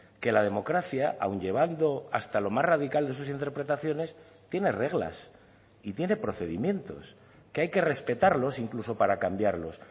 que la democracia aun llevando hasta lo más radical de sus interpretaciones tiene reglas y tiene procedimientos que hay que respetarlos incluso para cambiarlos